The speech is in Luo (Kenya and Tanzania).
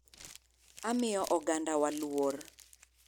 Amiyo ogandawa luor!